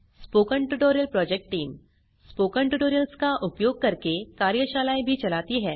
spoken tutorial project team spoken tutorials का उपयोग करके कार्यशालाएँ भी चलाती है